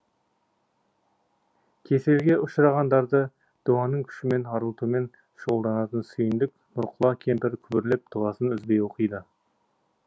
кеселге ұшырағандарды дуаның күшімен арылтумен шұғылданатын сүйіндік нұрқұла кемпір күбірлеп дұғасын үзбей оқиды